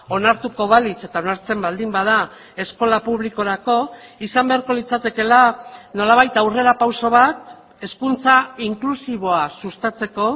onartuko balitz eta onartzen baldin bada eskola publikorako izan beharko litzatekeela nolabait aurrerapauso bat hezkuntza inklusiboa sustatzeko